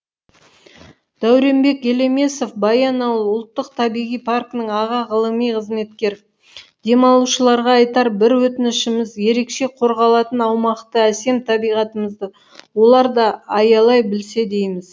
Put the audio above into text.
дәуренбек елемесов баянауыл ұлттық табиғи паркінің аға ғылыми қызметкері демалушыларға айтар бір өтінішіміз ерекше қорғалатын аумақты әсем табиғатымызды олар да аялай білсе дейміз